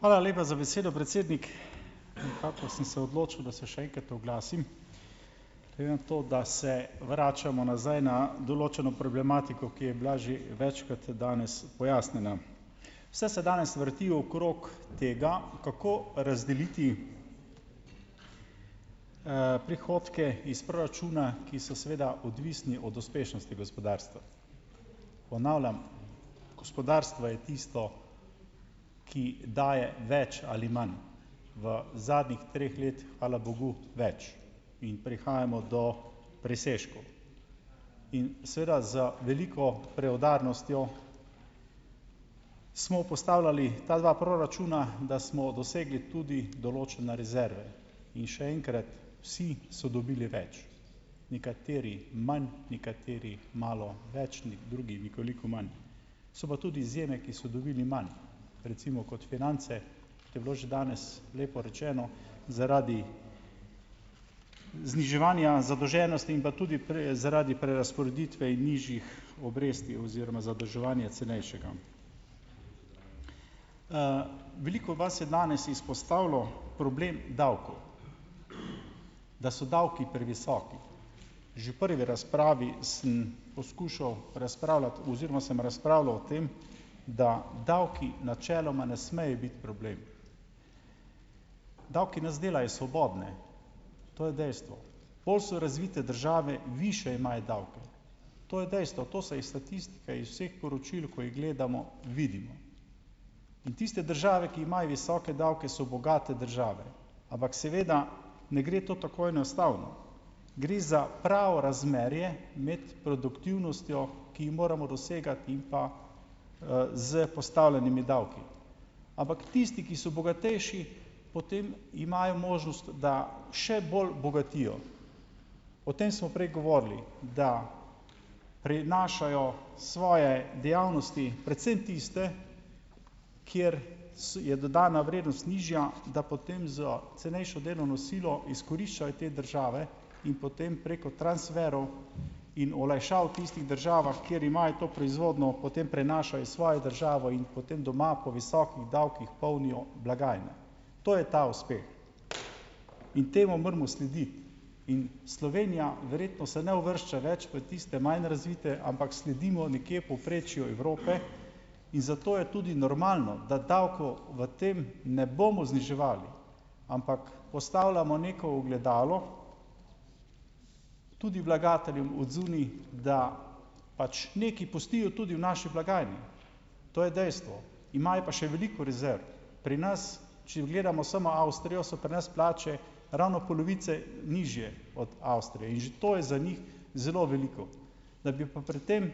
Hvala lepa za besedo, predsednik. Nekako sem se odločil , da se še enkrat oglasim. Glede na to, da se vračamo nazaj na določeno problematiko, ki je bila že večkrat danes pojasnjena. Vse se danes vrti okrog tega, kako razdeliti prihodke iz proračuna, ki so seveda odvisni od uspešnosti gospodarstva. Ponavljam, gospodarstvo je tisto, ki daje več ali manj. V zadnjih treh let, hvala bogu, več. Mi prihajamo do presežkov. In, seveda za veliko preudarnostjo smo postavljali ta dva proračuna, da smo dosegli tudi določene rezerve. In še enkrat, vsi so dobili več. Nekateri manj, nekateri malo več, drugi nekoliko manj. So pa tudi izjeme, ki so dobili manj. Recimo kot finance je bilo že danes lepo rečeno zaradi zniževanja zadolženosti in pa tudi zaradi prerazporeditve nižjih obresti oziroma zadolževanje cenejšega. veliko vas je danes izpostavilo problem davkov. Da so davki previsoki. Že prvi razpravi sem poskušal razpravljati oziroma sem razpravljal o tem, da davki načeloma ne smejo biti problem. Davki nas delajo svobodne. To je dejstvo. Bolj so razvite države, višje imajo davke. To je dejstvo. To se iz statistike, iz vseh poročil, ko jih gledamo vidi. Tiste države, ki imajo visoke davke, so bogate države. Ampak seveda ne gre to tako enostavno. Gre za prav razmerje med produktivnostjo, ki jih moramo dosegati, in pa s postavljenimi davki. Ampak, tisti, ki so bogatejši, potem imajo možnost, da še bolj bogatijo. O tem smo prej govorili. Da prinašajo svoje dejavnosti, predvsem tiste, kjer je dodana vrednost nižja, da potem za cenejšo delovno silo izkoriščajo te države in potem preko transferov in olajšav v tistih državah , kjer imajo to proizvodnjo, potem prenašajo iz svojo državo in potem doma po visokih davkih polnijo blagajne. To je ta uspeh. In temu moramo slediti. In, Slovenija verjetno se ne uvršča več v tiste manj razvite, ampak sledimo nekje povprečju Evrope, in zato je tudi normalno, da davkov v tem ne bomo zniževali, ampak postavljamo neko ogledalo tudi vlagateljem od zunaj, da pač nekaj pustijo tudi v naši blagajni. To je dejstvo. Imajo pa še veliko rezerv. Pri nas, če gledamo samo Avstrijo, so pri nas plače ravno polovice nižje od Avstrije. In že to je za njih zelo veliko. Da bi pa pri tem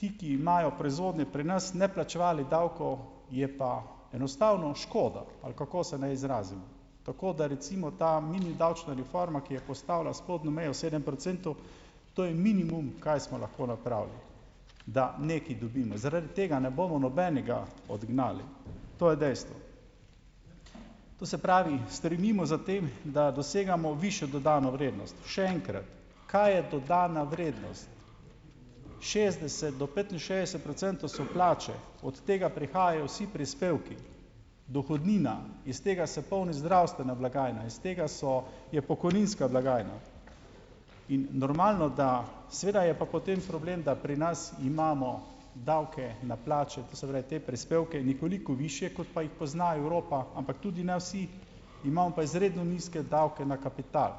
ti, ki imajo proizvodnje pri nas, ne plačevali davkov, je pa enostavno škoda, ali kako se ne izrazim. Tako da, recimo ta mini davčna reforma, ki je postavila spodnjo mejo sedem procentov, to je minimum, kaj smo lahko napravili, da nekaj dobimo. Zaradi tega ne bomo nobenega odgnali. To je dejstvo. To se pravi, stremimo za tem, da dosegamo višjo dodano vrednost. Še enkrat. Kaj je dodana vrednost? Šestdeset do petinšestdeset procentov so plače. Od tega prihajajo vsi prispevki. Dohodnina, iz tega se polni zdravstvena blagajna, iz tega so, je pokojninska blagajna. In normalno, da seveda je pa potem problem, da pri nas imamo davke na plače, to se pravi te prispevke nekoliko višje, kot pa jih pozna Evropa, ampak tudi ne vsi, imamo pa izredno nizke davke na kapital.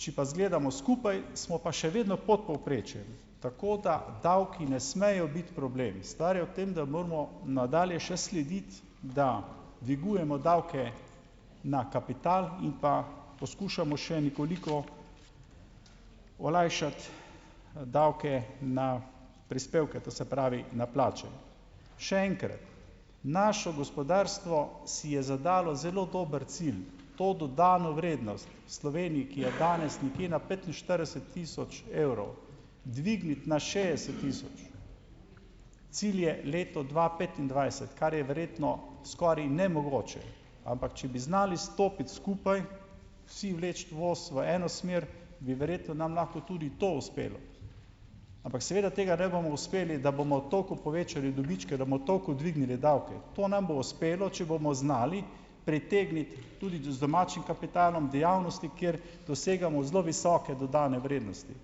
Če pa zgledamo skupaj, smo pa še vedno pod povprečjem. Tako, da davki ne smejo biti problem. Stvar je v tem, da moramo nadalje še slediti, da dvigujemo davke na kapital in pa poskušamo še nekoliko olajšati davke na prispevke, to se pravi na plače. Še enkrat. Naše gospodarstvo si je zadalo zelo dober cilj. To dodano vrednost Sloveniji, ki je danes nekje na petinštirideset tisoč evrov, dvigniti na šestdeset tisoč. Cilj je leto dva petindvajset, ker je verjetno skoraj nemogoče. Ampak, če bi znali stopiti skupaj, vsi vleči voz v eno smer, bi verjetno nam lahko tudi to uspelo. Ampak seveda tega ne bomo uspeli, da bomo toliko povečali dobičke, da bomo toliko dvignili davke. To nam bo uspelo, če bomo znali pritegniti tudi z domačim kapitalom dejavnosti, ker dosegamo zelo visoke dodane vrednosti.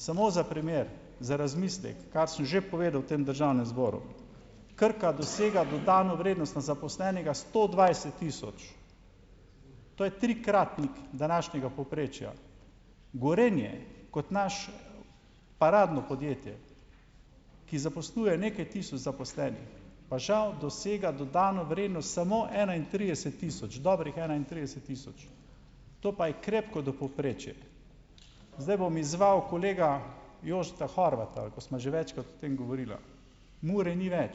Samo za primer, za razmislek, kar sem že povedal v tem Državnem zboru. Krka dosega dodano vrednost na zaposlenega sto dvajset tisoč. To je trikratnik današnjega povprečja. Gorenje, kot naš paradno podjetje, ki zaposluje nekaj tisoč zaposlenih, pa žal dosega dodano vrednost samo enaintrideset tisoč. Dobrih enaintrideset tisoč. To pa je krepko do povprečje. Zdaj bom izzval kolega Jošta Horvata, ko sva že večkrat o tem govorila. Mure ni več,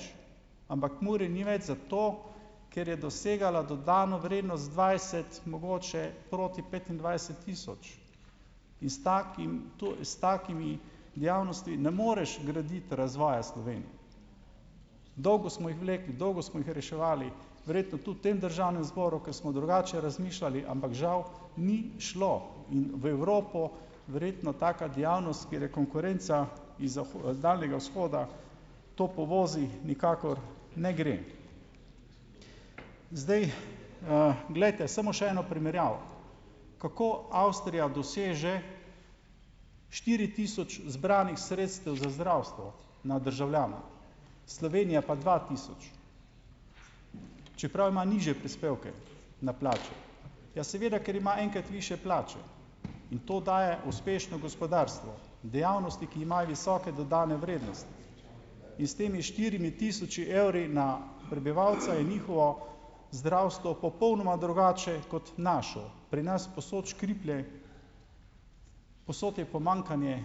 ampak Mure eni več zato, ker je dosegala dodano vrednost dvajset, mogoče proti petindvajset tisoč in s takim in s takimi dejavnosti ne moreš graditi razvoja Slovenije. Dolgo smo jih vlekli, dolgo smo jih reševali, verjetno tudi v tem Državnem zboru, ker smo drugače razmišljali, ampak žal ni šlo. In v Evropo verjetno taka dejavnost, kjer je konkurenca iz Daljnega vzhoda, to povozi, nikakor ne gre. Zdaj, glejte, samo še eno primerjavo. Kako Avstrija doseže štiri tisoč zbranih sredstev za zdravstvo na državljana? Slovenija pa dva tisoč. Čeprav ima nižje prispevke na plači. Ja, seveda, ker ima enkrat višje plače. In to daje uspešno gospodarstvo, dejavnosti, ki imajo visoke dodane vrednosti. In s temi štiri tisoči evri na prebivalca je njihovo zdravstvo popolnoma drugače kot naše. Pri nas povsod škriplje, povsod je pomanjkanje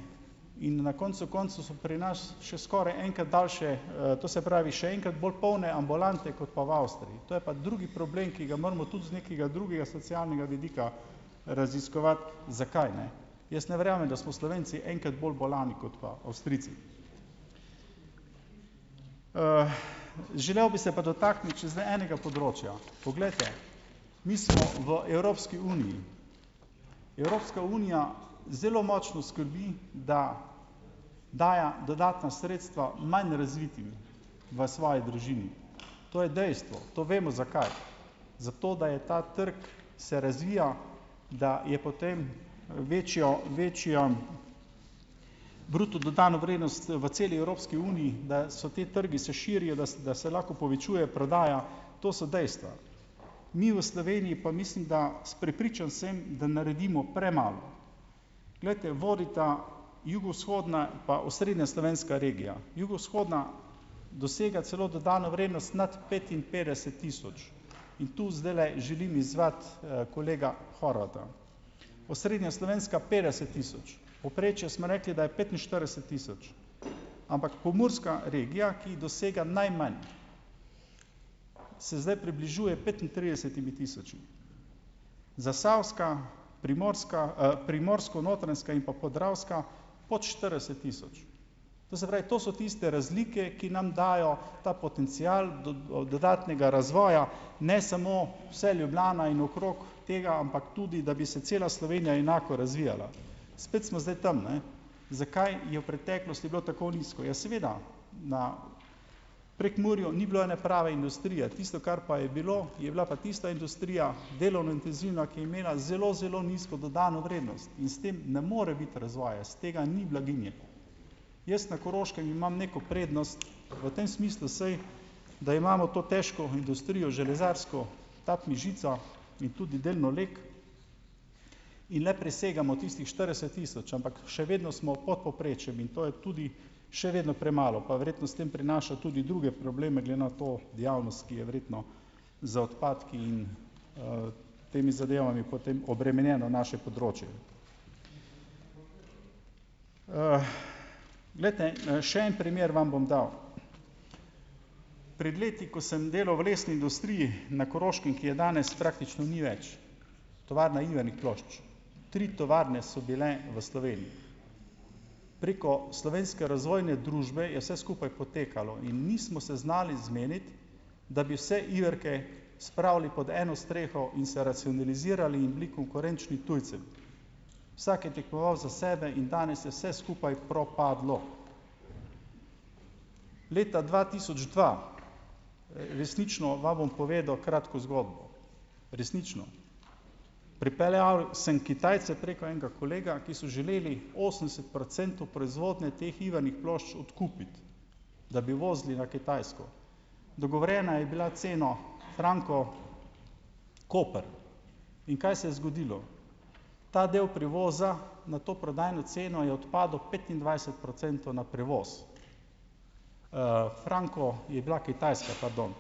in na koncu koncev so pri nas še skoraj enkrat daljše to se pravi še enkrat bolj polne ambulante kot pa v Avstriji. To je pa drugi problem, ki ga moramo tudi z nekega drugega socialnega vidika raziskovati zakaj, ne. Jaz ne verjamem, da smo Slovenci enkrat bolj bolni kot pa Avstrijci. želel bi se pa dotakniti še zdaj enega področja. Poglejte , mi smo v Evropski uniji. Evropska unija zelo močno skrbi, da daje dodatna sredstva manj razvitim v svoji družini. To je dejstvo, to vemo, zakaj . Zato, da je ta trg se razvija, da je potem večjo, večjo bruto dodano vrednost v celi Evropski uniji, da so ti trgi se širijo, da, da se lahko povečuje prodaja. To so dejstva. Mi v Sloveniji pa, mislim, da, prepričan sem, da naredimo premalo. Glejte, vodita jugovzhodna pa osrednja slovenska regija. Jugovzhodna dosega celo dodano vrednost notri petinpetdeset tisoč. In tu zdajle želim izzvati kolega Horvata. Osrednja slovenska petdeset tisoč. Povprečju smo rekli, da je petinštirideset tisoč. Ampak pomurska regija, ki dosega najmanj, se zdaj približuje petintridesetim tisočem. Zasavska, primorska, primorsko-notranjska in pa podravska pot štirideset tisoč. To se pravi, to so tiste razlike, ki nam dajo ta potencial dodatnega razvoja, ne samo vse Ljubljana in okrog tega, ampak tudi da bi se cela Slovenija enako razvijala. Spet smo zdaj tam, ne. Zakaj je v preteklosti bilo tako nizko. Ja, seveda, na Prekmurju ni bilo ene prave industrije. Tisto, kar pa je bilo, je bila pa tista industrija, delovno intenzivna, ki je imela zelo, zelo nizko dodano vrednost. In s tem ne more biti razvoja, iz tega ni blaginje. Jaz na Koroškem imam neko prednost v tem smislu, saj, da imamo to težko industrijo železarsko , TAB Mežico in tudi delno Lek in le presegamo tistih štirideset tisoč, ampak še vedno smo pod povprečjem in to je tudi še vedno premalo pa verjetno s tem prinaša tudi druge probleme glede na to javnost, ki je verjetno za odpadke in temi zadevami potem obremenjeno naše področje. glejte, , še en primer vam bom dal. Pred leti, ko sem delal v lesni industriji na Koroškem, ki je danes praktično ni več, Tovarna ivernih plošč. Tri tovarne so bile v Sloveniji. Preko Slovenske razvojne družbe je vse skupaj potekali in nismo se znali zmeniti, da bi vse iverke spravili pod eno streho in se racionalizirali in bili konkurenčni tujcem. Vsak je tekmoval za sebe in danes je vse skupaj propadlo. Leta dva tisoč dva resnično, vam bom povedal kratko zgodbo. Resnično. Pripeljal sem Kitajce preko enega kolega, ki so želeli osemdeset procentov proizvodnje teh ivernih plošč odkupiti, da bi vozili na Kitajsko. Dogovorjena je bila ceno franko Koper. In kaj se je zgodilo? Ta del prevoza na to prodajno ceno je odpadel petindvajset procentov na prevoz. franko je bila Kitajska , pardon.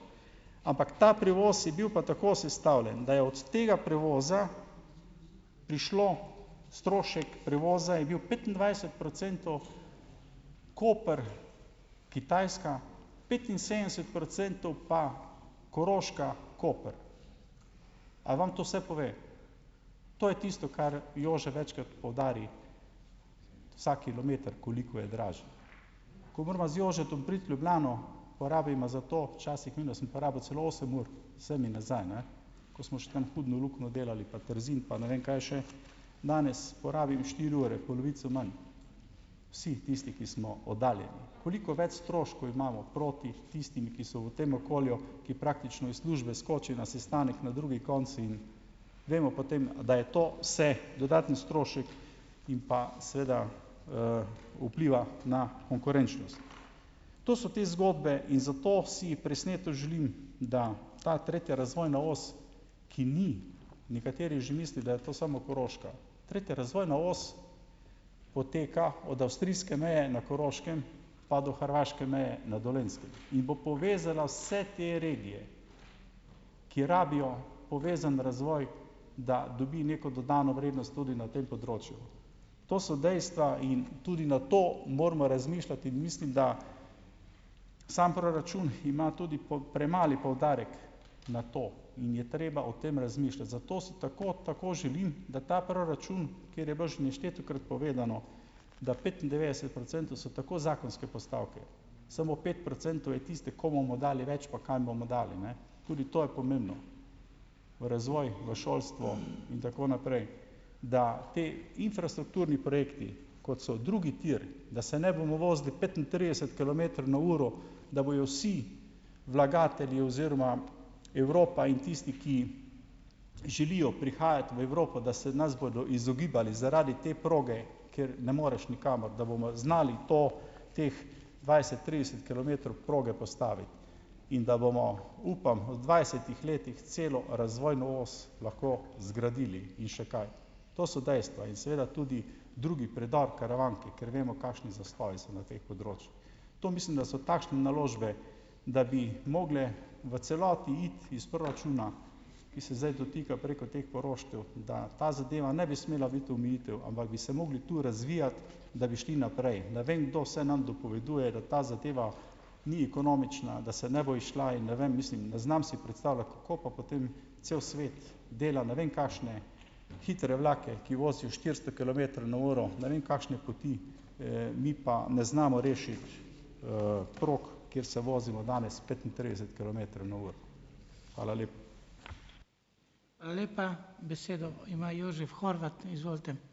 Ampak ta prevoz je bil pa tako sestavljen, da je od tega prevoza prišlo strošek prevoza je bil petindvajset procentov Koper- Kitajska, petinsedemdeset procentov pa Koroška-Koper. A vam to vse pove? To je tisto, kar Jože večkrat poudari. Ta kilometer, koliko je dražji. Ko morava z Jožetom priti v Ljubljano, porabiva za to, včasih vem, da sem porabil celo osem ur. Sem in nazaj, ne. Ko smo tam še Hudno luknjo delali pa Trzin pa ne vem kaj še. Danes porabim štiri ure, polovico imam, vsi tisti, ki smo oddaljeni, koliko več stroškov imamo proti tistim, ki so v tem okolju, ki praktično iz službe skočijo na sestanek na drugi konec, in vemo potem, da je to vse dodaten strošek in pa seveda vpliva na konkurenčnost. To so te zgodbe in zato si presneto želim, da ta tretja razvojna os, ki ni, nekateri že misli, da je to samo broška. Tretja razvojna os poteka od avstrijske meje na Koroškem pa do Hrvaške meje na Dolenjskem. In bo povezala vse te regije , ki rabijo povezan razvoj, da dobi neko dodano vrednost tudi na tem področju. To so dejstva in tudi na to moramo razmišljati, mislim, da samo proračun ima tudi premali poudarek na to in je treba o tem razmišljati. Zato si tako, tako želim, da ta proračun, ker je bilo že neštetokrat povedano, da petindevetdeset procentov so tako zakonske postavke. Samo pet procentov je tiste, komu bomo dali več, pa kam bomo dali, ne. In tudi je pomembno. V razvoj, v šolstvo in tako naprej. Da ti infrastrukturni projekti, kot so drugi tir, da se ne bomo vozili petintrideset kilometrov na uro, da bojo vsi vlagatelji oziroma Evropa in tisti, ki želijo prihajati v Evropo, da se nas bodo izogibali zaradi te proge, ker ne moreš nikamor. Da bomo znali to, teh dvajset, trideset kilometrov proge postaviti. In, da bomo, upam, v dvajsetih letih celo razvojno os lahko zgradili in še kaj. To so dejstva in seveda tudi drugi predor Karavanke, ker vemo, kakšni zastoji so na teh področjih. To mislim, da so takšne naložbe, da bi mogle v celoti iti iz proračuna, ki se zdaj dotika preko teh poroštev, da ta zadeva ne bi smela biti omejitev, ampak bi se mogli tu razvijati, da bi šli naprej. Ne vem, kdo vse nam dopoveduje, da ta zadeva ni ekonomična, da se ne bo izšla, in ne vem, mislim, ne znam si predstavljati, kako pa potem cel svet dela ne vem kakšne hitre vlake, ki vozijo štiristo kilometrov na uro, ne vem kakšne poti, mi pa ne znamo rešiti prog , kjer se vozimo danes petintrideset kilometrov na uro. Hvala lepa. Hvala lepa. Besedo ima Jožef Horvat, izvolite.